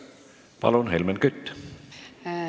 Palun, Helmen Kütt!